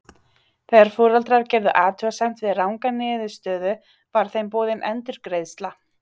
Þegar foreldrar gerðu athugasemd við ranga niðurstöðu var þeim boðin endurgreiðsla.